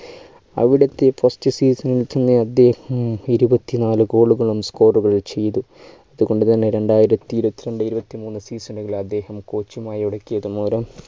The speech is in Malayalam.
അവിടെ എത്തിയ first season ൽ അദ്ദേഹം ഇരുപത്തിനാല് goal ളുകൾ score കൾ ചെയ്തു അതുകൊണ്ടുതന്നെ രണ്ടായിരത്തി ഇരുപത്തിരണ്ട്‍ ഇരുപത്തിമൂന്ന് season കളിൽ അദ്ദേഹം coach മായി ഉടക്കിയതു മൂലം